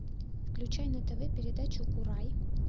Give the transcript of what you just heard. включай на тв передачу курай